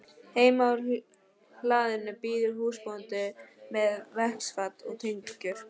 Heima á hlaðinu bíður húsbóndinn með vaskafat og tengur.